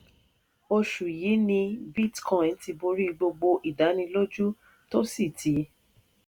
oṣù yìí ni bitcoin ti borí gbogbo ìdánilójú tó sì ti